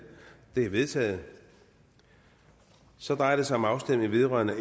de er vedtaget så drejer det sig om afstemning vedrørende